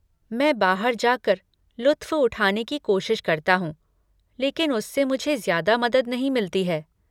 मैं बाहर जा कर लुत्फ़़ उठाने की कोशिश करता हूँ, लेकिन उससे मुझे ज्यादा मदद नहीं मिलती है।